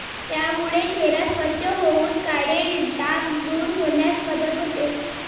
यामुळे चेहरा स्वच्छ होऊन काळे डाग दूर होण्यास मदत होते.